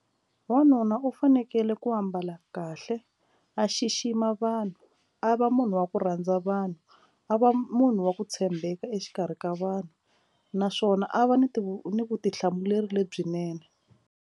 Wanuna u fanekele ku ambala kahle a xixima vanhu a va munhu wa ku rhandza vanhu a va munhu wa ku tshembeka exikarhi ka vanhu naswona a va ni ti ni vutihlamuleri lebyinene.